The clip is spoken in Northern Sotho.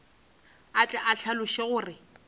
a tle a hlaloše gore